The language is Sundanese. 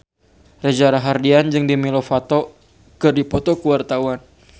Reza Rahardian jeung Demi Lovato keur dipoto ku wartawan